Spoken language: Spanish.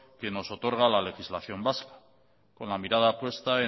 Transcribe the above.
que nos otorga la legislación vasca con la mirada puesta